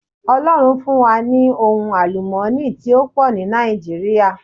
Ọlọ́run fún wa ní ohun àlùmọ́ọ́nì tí ó pò ní Nàìjíríà